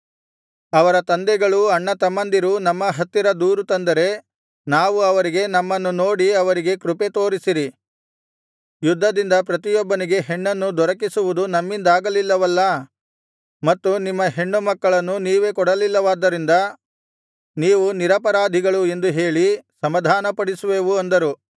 ಅವರ ತಂದೆಗಳೂ ಅಣ್ಣತಮ್ಮಂದಿರೂ ನಮ್ಮ ಹತ್ತಿರ ದೂರು ತಂದರೆ ನಾವು ಅವರಿಗೆ ನಮ್ಮನ್ನು ನೋಡಿ ಅವರಿಗೆ ಕೃಪೆತೋರಿಸಿರಿ ಯುದ್ಧದಿಂದ ಪ್ರತಿಯೊಬ್ಬನಿಗೆ ಹೆಣ್ಣನ್ನು ದೊರಕಿಸುವುದು ನಮ್ಮಿಂದಾಗಲಿಲ್ಲವಲ್ಲಾ ಮತ್ತು ನಿಮ್ಮ ಹೆಣ್ಣುಮಕ್ಕಳನ್ನು ನೀವೇ ಕೊಡಲಿಲ್ಲವಾದ್ದರಿಂದ ನೀವು ನಿರಪರಾಧಿಗಳು ಎಂದು ಹೇಳಿ ಸಮಾಧಾನಪಡಿಸುವೆವು ಅಂದರು